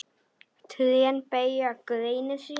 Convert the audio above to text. Trén beygja greinar sínar.